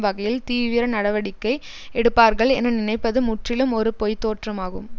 வகையில் தீவிர நடவடிக்கை எடுப்பார்கள் என நினைப்பது முற்றிலும் ஒரு பொய்தோற்றம் ஆகும்